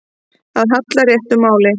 Að halla réttu máli